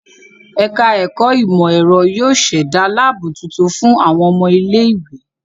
Ẹ̀ka ẹ̀kọ ìmọ̀-ẹ̀rọ yóó ṣẹ̀da láàbù tuntun fún àwọn ọmọ ilé-ìwé.